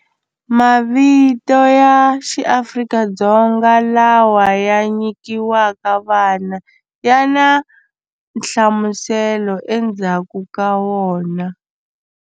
Mavito ya xi Afrika-Dzonga lawa ya nyikiwaka vana ya na nhlamuselo endzhaku ka wona.